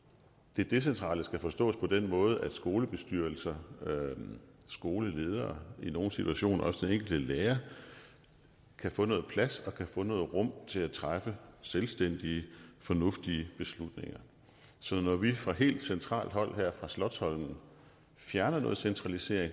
decentrale skal forstås på den måde at skolebestyrelser og skoleledere og i nogle situationer også den enkelte lærer kan få noget plads og rum til at træffe selvstændige fornuftige beslutninger så når vi fra helt centralt hold her på slotsholmen fjerner noget centralisering